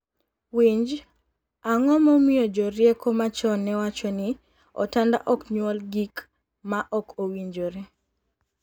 Winj, ango momiyo jorieko machon newacho ni “otanda ok nyuol gik ma ok owinjore”?